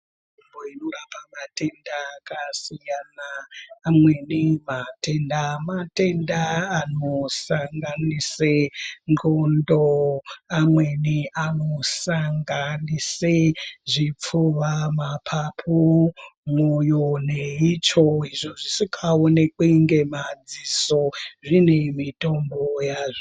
Nzvimbo inorapa matenda akasiyana amweni matenda matenda anosanganise ndxondo amweni anosanganise zvipfuwa, mapapun, mwoyo neitsvo izvo zvisikaonekwi ngemaziso zvine mitombo yazvo.